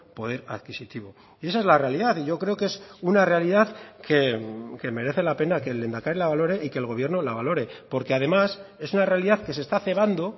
poder adquisitivo y esa es la realidad y yo creo que es una realidad que merece la pena que el lehendakari la valore y que el gobierno la valore porque además es una realidad que se está cebando